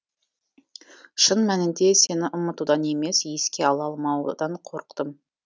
шын мәнінде сені ұмытудан емес еске ала алмаудан қорықтым